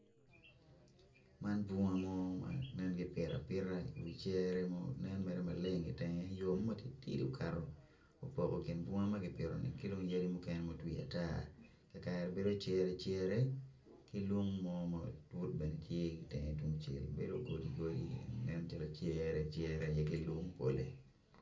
Man bunga mo ma nen gibito abita i wi cere mo nen mere maleng yo mo matitidi okaro opoko kin bunga makigero ki dong yadi mukene madwir ata kakare bedo cere cere ki lung beod calo tenge tungcel beno godi godi en tye lacere cere kilung pole.